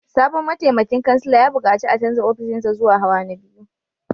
Sabon mataimakin kansila ya bukaci a canza ofishinsa zuwa hawa na biyu